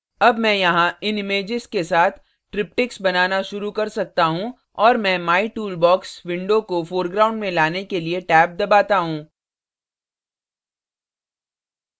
tab मैं यहाँ इन images के साथ triptychs बनाना शुरू कर सकता हूँ और मैं my टूल बॉक्स window को foreground में लाने के लिए टैब दबाता हूँ